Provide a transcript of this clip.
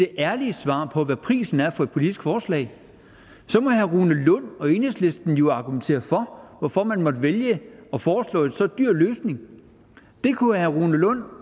det ærlige svar på hvad prisen er for et politisk forslag så må herre rune lund og enhedslisten jo argumentere for hvorfor man måtte vælge at foreslå en så dyr løsning det kunne herre rune lund